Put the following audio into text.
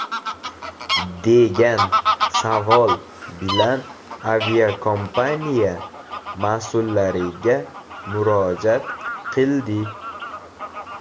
degan savol bilan aviakompaniya mas’ullariga murojaat qildi .